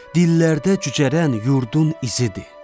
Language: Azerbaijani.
Dillərdə cücərən yurdun izidir.